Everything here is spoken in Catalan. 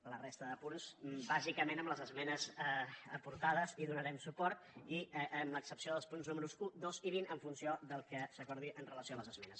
a la resta de punts bàsicament amb les emenes aportades hi donarem suport i amb l’excepció dels punts números un dos i vint en funció del que s’acordi amb relació a les esmenes